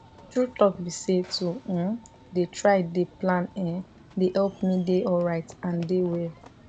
true talk be say to um dey try dey plan[um]dey help me dey alright and dey well